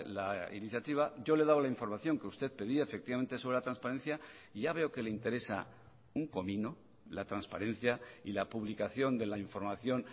la iniciativa yo le he dado la información que usted pedía efectivamente sobre la transparencia y ya veo que le interesa un comino la transparencia y la publicación de la información